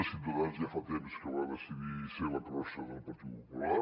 ciutadans ja fa temps que va decidir ser la crossa del partit popular